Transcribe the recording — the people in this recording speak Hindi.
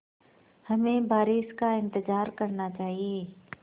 हमें बारिश का इंतज़ार करना चाहिए